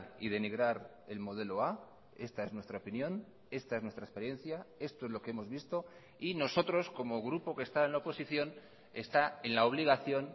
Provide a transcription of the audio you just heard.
y denigrar el modelo a esta es nuestra opinión esta es nuestra experiencia esto es lo que hemos visto y nosotros como grupo que está en la oposición está en la obligación